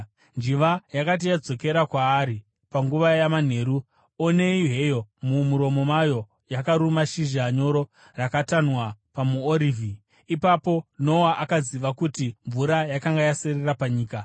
Njiva yakati yadzokera kwaari panguva yamanheru, onei heyo mumuromo mayo yakaruma shizha nyoro rakatanhwa pamuorivhi! Ipapo Noa akaziva kuti mvura yakanga yaserera panyika.